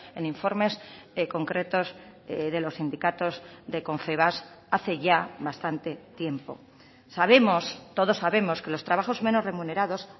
en informes concretos de los sindicatos de confebask hace ya bastante tiempo sabemos todos sabemos que los trabajos menos remunerados